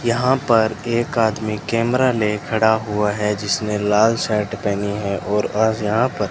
यहां पर एक आदमी कैमरा ले खड़ा हुआ है जिसने लाल शर्ट पहनी है और आज यहां पर --